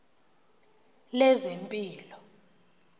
lezempilo